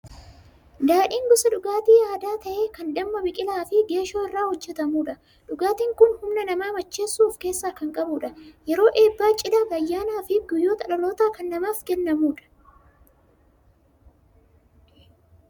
Daadhiin gosa dhugaatii aadaa ta'ee kan damma, biqilaa fi geeshoo irraa hojjetamudha. Dhugaatiin kun humna nama macheessuu of keessaa kan qabudha. Yeroo eebbaa, cidhaa, ayyaanaa fi guyyaa dhalootaa kan namaaf kennamudha.